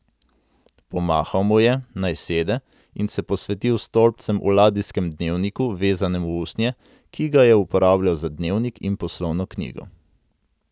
Pomahal mu je, naj sede, in se posvetil stolpcem v ladijskem dnevniku, vezanem v usnje, ki ga je uporabljal za dnevnik in poslovno knjigo.